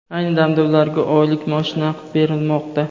Ayni damda ularga oylik maosh naqd berilmoqda.